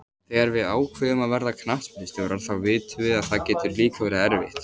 Þegar við ákveðum að verða knattspyrnustjórar þá vitum við að það getur líka verið erfitt.